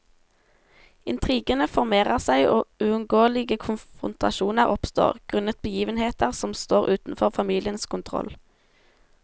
Intrigene formerer seg og uungåelige konfrontasjoner oppstår, grunnet begivenheter som står utenfor familiens kontroll.